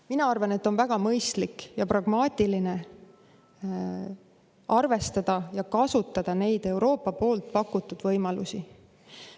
Mina arvan, et on väga mõistlik ja pragmaatiline arvestada ja kasutada neid Euroopa pakutud võimalusi.